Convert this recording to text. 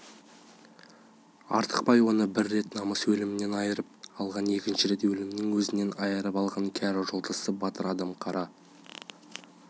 артықбай оны бір рет намыс өлімінен айырып алған екінші рет өлімнің өзінен айырып алған кәрі жолдасы батыр адам қара